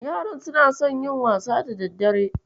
Yaran suna son yin wasa da daddare.